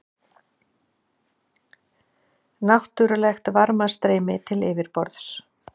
Náttúrlegt varmastreymi til yfirborðs